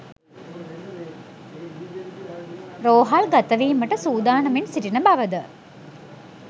රෝහල් ගතවීමට සූදානමින් සිටින බවද